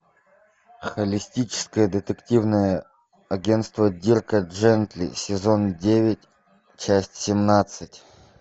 холистическое детективное агентство дирка джентли сезон девять часть семнадцать